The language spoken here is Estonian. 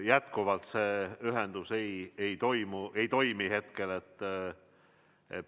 Jätkuvalt see ühendus ei toimi hetkel.